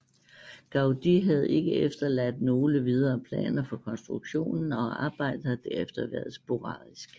Gaudí havde ikke efterladt nogle videre planer for konstruktionen og arbejdet har derefter været sporadisk